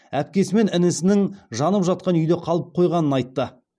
әпкесі мен інісінің жанып жатқан үйде қалып қойғанын айтты